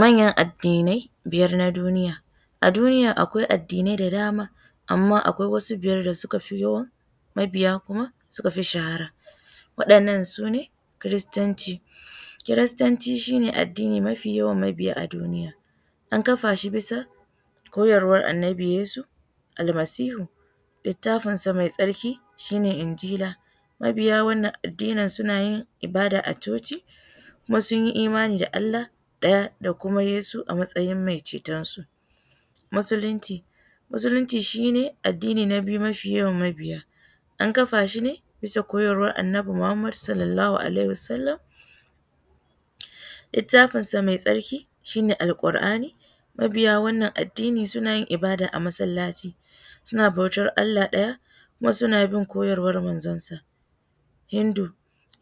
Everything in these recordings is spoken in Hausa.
Manyan addinai biyar na duniya. A duniya akwai addinai da dama amma akwai wasu wadanda suka fi yawan mabiya kuma suka fi shahara. Waɗannan su ne, kiristanci, kiristanci su ne addini da ya fi yawan mabiya a duniya, an kafa shi bisa koyarwar annabi yesu Almasihu littafinsa mai tsarki shi je injila. Mabiya wannan Addinin suna yi ibada a coci kuma su yi imani da Allah ɗaya da kuma yesu a matsayin mai cetonsu. Muslunci shi ne addini na biyu mafi yawan mabiya, an ƙafa shi ne biya koyarwar Annabi Muhammad Sallallahu alaihi Wasallama. Littafinsa mai tsarki shi ne Alkur'ani. Mabiya wannan Addini suna yin ibada ne a masallaci, sun bautar Allah ɗaya kuma su bin koyarwar manzonsa. Hindu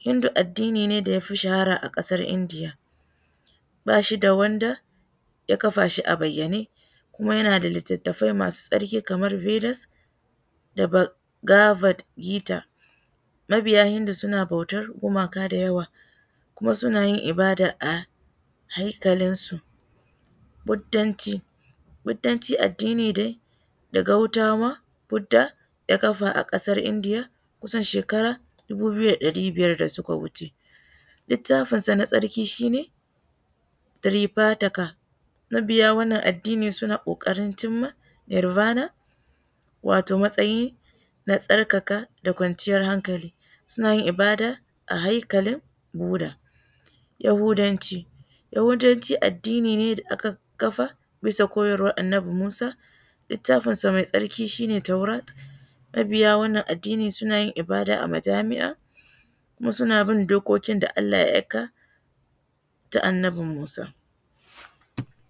addini ne da ya fi shahara a ƙasar India ba shi da wanda ya kafa shi a bayyane kuma yana da littafai masu tsarki kamar Bilas da Bagabat gita. Mabiya hindu suna bautar gumaka da yawa kuma suna yin ibada a haikalinsu. Bhuddanci, bhddanci shi ne addini daga Bhudda ya kafa a kasar India kusan shekara ɗari biyar da suka wuce. Littafinsa na tsarki shi ne Frifataka. Mabiya wannan Addini suna ƙoƙarin cimma Irbana wato matsayi na tsarkakq sa kwanciyar hankali. Suna yin ibada a haikalin bhudda. Yahudanci addini ne da aka ƙafa bisa koyarwar Annabi Musa. Litattafinsa shi ne Taurat. Mabiya wannan Addini suna yin ibada a majami'a kuma suna bin dokokin da Allah aika ta Annabi Musa.